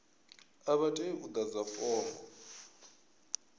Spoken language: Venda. a vha tei u ḓadza fomo